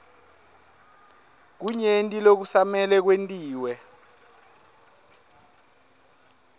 kunyenti lokusamele kwentiwe